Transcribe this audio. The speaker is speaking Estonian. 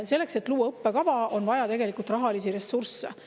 Selleks, et luua õppekava, on vaja rahalisi ressursse.